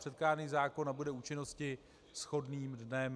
Předkládaný zákon nabude účinnosti shodným dnem.